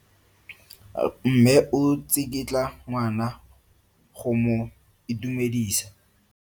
Mme o tsikitla ngwana go mo itumedisa.